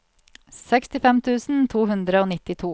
sekstifem tusen to hundre og nittito